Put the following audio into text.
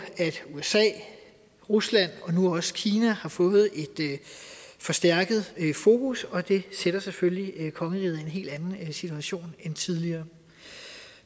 at usa rusland og nu også kina har fået et forstærket fokus og det sætter selvfølgelig kongeriget i en helt anden situation end tidligere